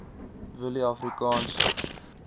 willieafrikaanse